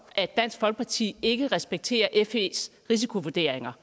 at dansk folkeparti ikke respekterer fes risikovurderinger